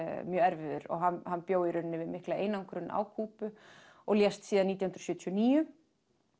mjög erfiður og hann bjó í rauninni við mikla einangrun á Kúbu og lést síðan nítján hundruð sjötíu og níu